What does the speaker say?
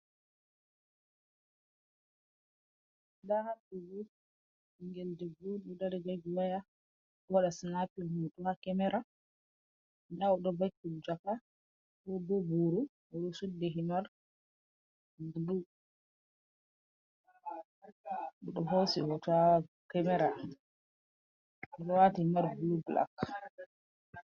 Nda haɗɗo ni ɓingel debbo on ɗo dari jogi waya waɗa sinapin hoto ha kemara. Nda oɗo vakki jaka/boro, oɗo suddi himar bulu, oɗo hosi hoto ha kemara, oɗo waati himar bulu-blak.